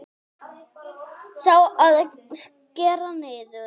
Sá, að skera niður.